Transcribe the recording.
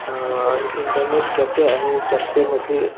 आह internet cafe आहे cafe मध्ये --